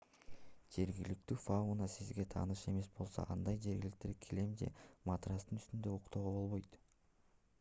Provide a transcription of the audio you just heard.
жергиликтүү фауна сизге тааныш эмес болсо андай жерлерде килем же матрастын үстүндө уктоого болбойт